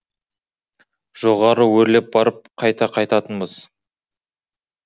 жоғары өрлеп барып қайта қайтатынбыз